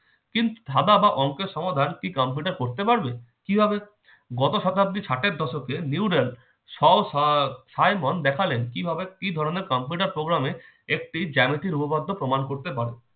কিন্তু ধাঁধা বা অংকের সমাধান কি কম্পিউটার করতে পারবে কিভাবে কত শতাব্দীর ষাঠের দশকে nurel soh faimon দেখালেন কিভাবে কি ধরনের কম্পিউটার programme এর একটি জ্যামিতির উপপাদ্য প্রমাণ করতে পারে